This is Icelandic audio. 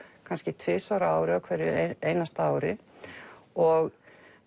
kannski tvisvar á ári á hverju einasta ári og